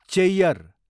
Cheyyar